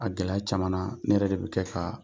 A gɛlɛya camanna ne yɛrɛ de bɛ kɛ k'a